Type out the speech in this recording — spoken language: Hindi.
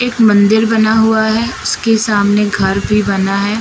एक मंदिर बना हुआ है उसके सामने घर भी बना है।